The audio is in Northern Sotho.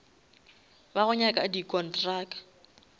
ba go nyaka di kontraka